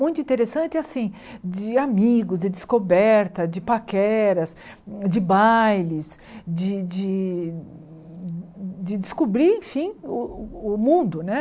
muito interessante, assim, de amigos, de descoberta, de paqueras, de bailes, de de de descobrir, enfim, o o mundo, né?